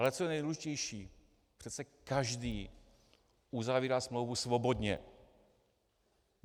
Ale co je nejdůležitější - přece každý uzavírá smlouvu svobodně.